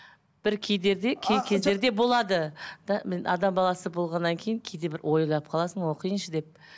бір кей кездерде болады да адам баласы болғаннан кейін кейде бір ойлап қаласың оқиыншы деп